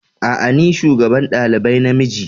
A'a ni ne shugaban dalibai na miji.